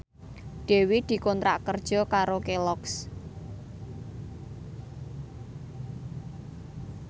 Dewi dikontrak kerja karo Kelloggs